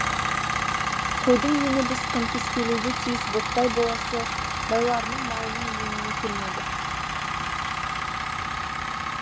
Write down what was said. қойдың ені біз конфискелеуге тиіс ботпай болысы байларының малының еніне келмеді